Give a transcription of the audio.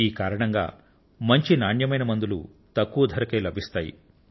ఈ కారణంగా మంచి నాణ్యత కలిగిన మందులు తక్కువ ధరకే లభిస్తాయి